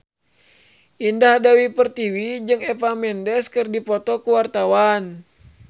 Indah Dewi Pertiwi jeung Eva Mendes keur dipoto ku wartawan